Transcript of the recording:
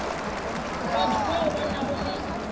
batho bao ba nago le